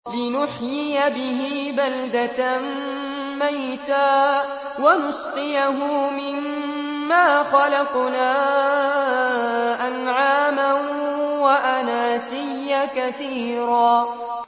لِّنُحْيِيَ بِهِ بَلْدَةً مَّيْتًا وَنُسْقِيَهُ مِمَّا خَلَقْنَا أَنْعَامًا وَأَنَاسِيَّ كَثِيرًا